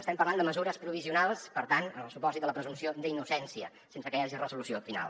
estem parlant de mesures provisionals per tant en el supòsit de la presumpció d’innocència sense que hi hagi resolució final